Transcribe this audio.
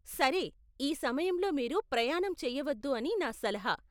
సరే, ఈ సమయంలో మీరు ప్రయాణం చెయ్యవద్దు అని నా సలహా .